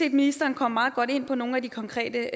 at ministeren kom meget godt ind på nogle af de konkrete